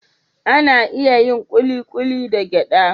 Ana iya yin kulikuli da gyada